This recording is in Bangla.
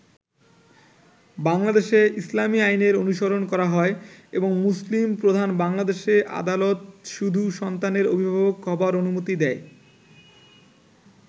বাংলাদেশে ইসলামী আইনের অনুসরণ করা হয় এবং মুসলিম প্রধান বাংলাদেশে আদালত শুধু সন্তানের অভিভাবক হবার অনুমতি দেয়।